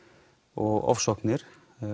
og ofsóknir